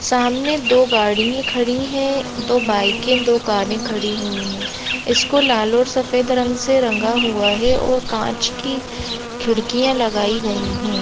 सामने दो गाड़िया खड़ीयहै दो बाइके दो कारे खड़ी हुई है इसको लाल और सफ़ेद रंग से रंगा हुआ है और कांच की खिड़कियाँ लगायी गई है।